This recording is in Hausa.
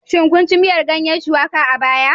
Shin kun ci miyar ganyen Shuwaka a baya?